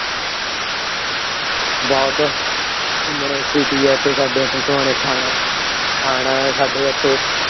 ਬਸ ਘੁੰਮਣਾ ਇੱਥੇ ਕਿ ਏ। ਸਾਹਮਣੇ ਥਾਣਾ ਥਾਣਾ ਏ ਸਾਡੇ ਇੱਥੇ